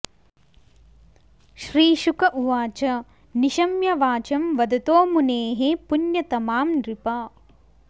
श्रीशुक उवाच निशम्य वाचं वदतो मुनेः पुण्यतमां नृप